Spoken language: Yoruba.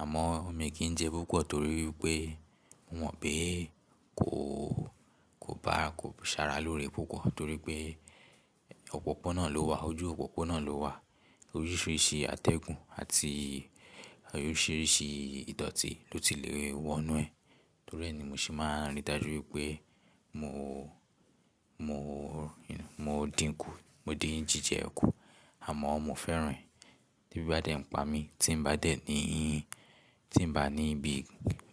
àmọ́ mi kì í jẹ púpọ̀ torí pé mo mọ̀ pé kò, kò bá, kò sára lóore púpọ̀ torí pé òpópónà ló wà, ojú òpópónà ló wà. Oríṣìíríṣìí atẹ́gùn àti oríṣìíríṣìí ìdọ́tì ló ti le wọnú ẹ̀ torí ẹni mo sì máa ń rí i dájú wípé mo, mo, mo dínkù, mo dín jíjẹ kù àmọ́ mo fẹ́ràn e ti ebi ba dé ń pa mí, tí ń bá dé ní ìhín, tí ń bá ní ibi